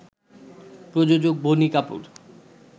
প্রযোজক বনি কাপুর